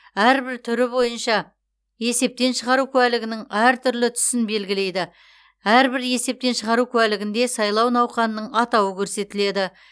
әрбір түрі бойынша есептен шығару куәлігінің әртүрлі түсін белгілейді әрбір есептен шығару куәлігінде сайлау науқанының атауы көрсетіледі